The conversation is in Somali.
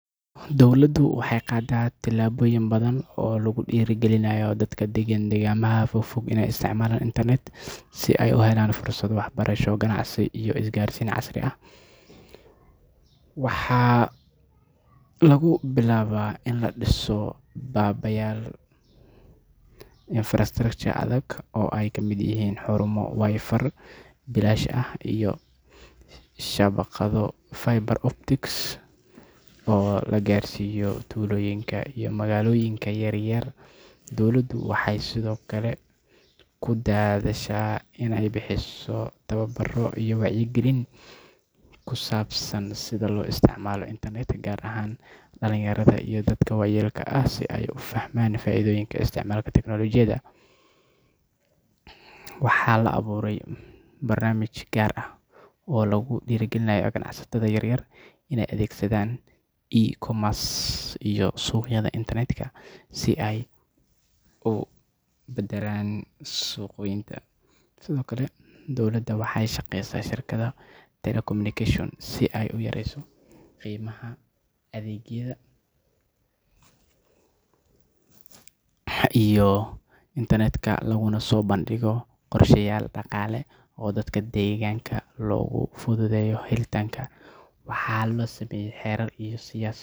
Dowladdu waxay qaadaa tallaabooyin badan oo lagu dhiirrigelinayo dadka degan deegaanada fogfog inay isticmaalaan internet si ay u helaan fursado waxbarasho, ganacsi iyo isgaarsiin casri ah. Waxaa lagu bilaabaa in la dhiso kaabayaal infrastructure adag oo ay ka mid yihiin xarumo Wi-Fi bilaash ah iyo shabakado fiber optic oo la gaarsiiyo tuulooyinka iyo magaalooyinka yaryar. Dowladda waxay sidoo kale ku dadaashaa inay bixiso tababarro iyo wacyigelin ku saabsan sida loo isticmaalo internet, gaar ahaan dhalinyarada iyo dadka waayeelka ah si ay u fahmaan faa’iidooyinka isticmaalka tiknoolajiyada. Waxaa la abuuray barnaamijyo gaar ah oo lagu dhiirrigeliyo ganacsatada yaryar inay adeegsanayaan e-commerce iyo suuqyada internetka si ay u balaadhiyaan suuqooda. Sidoo kale, dowladda waxay la shaqeysaa shirkadaha telecommunications si loo yareeyo qiimaha adeegyada internet laguna soo bandhigo qorshayaal dhaqaale oo dadka deegaanka loogu fududeeyo helitaanka. Waxaa la sameeyaa xeerar iyo siyaasado.